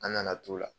An nana to la